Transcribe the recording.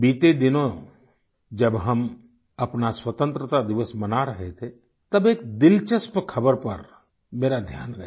बीते दिनों जब हम अपना स्वतंत्रता दिवस मना रहे थे तब एक दिलचस्प खबर पर मेरा ध्यान गया